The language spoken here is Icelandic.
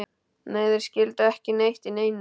Nei, þeir skildu ekki neitt í neinu.